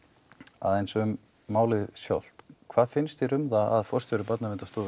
aðeins um málið sjálft hvað finnst þér um að forstjóri Barnaverndarstofu